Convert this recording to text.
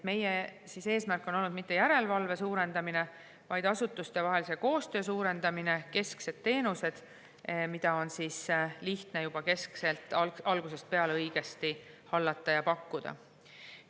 Meie eesmärk ei ole olnud mitte järelevalve suurendamine, vaid asutuste vahelise koostöö suurendamine, kesksed teenused, mida on lihtne keskselt juba algusest peale õigesti hallata ja pakkuda.